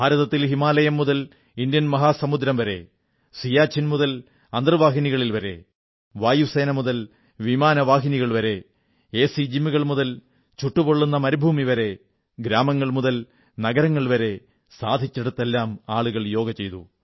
ഭാരതത്തിൽ ഹിമാലയം മുതൽ ഇന്ത്യൻ മഹാസമുദ്രം വരെ സിയാചിൻ മുതൽ അന്തർവാഹിനികളിൽ വരെ വായുസേന മുതൽ വിമാനവാഹിനികൾ വരെ എസി ജിമ്മുകൾ മുതൽ ചുട്ടുപൊള്ളുന്ന മരുഭൂമി വരെ ഗ്രാമങ്ങൾ മുതൽ നഗരങ്ങൾ വരെ സാധിച്ചിടത്തെല്ലാം ആളുകൾ യോഗ ചെയ്തു